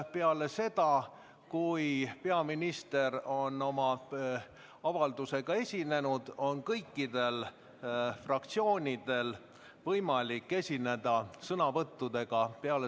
Peale seda, kui peaminister on oma avaldusega esinenud, on kõikidel fraktsioonidel võimalik esineda sõnavõttudega.